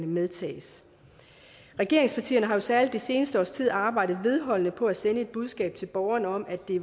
medtages regeringspartierne har jo særlig det seneste års tid arbejdet vedholdende for at sende et budskab til borgerne om at det